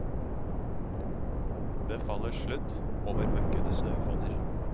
Det faller sludd over møkkete snøfonner.